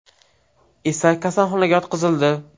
esa kasalxonaga yotqizildi.